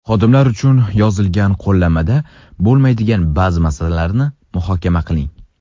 Xodimlar uchun yozilgan qo‘llanmada bo‘lmaydigan ba’zi masalalarni muhokama qiling.